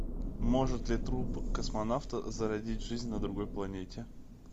может ли труп космонавта зародить жизнь на другой планете